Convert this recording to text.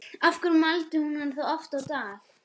Af hverju mældi hún hann þá oft á dag?